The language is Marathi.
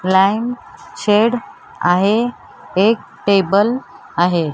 ब्लँक शेड आहे एक टेबल आहे.